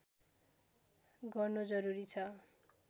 गर्नु जरुरी छ